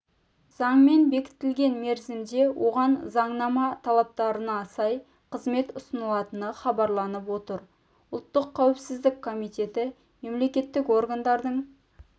заңмен бекітілген мерзімде оған заңнама талаптарына сай қызмет ұсынылатыны хабарланып отыр ұлттық қауіпсіздік комитеті мемлекеттік органдардың